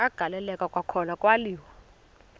agaleleka kwakhona kwaliwa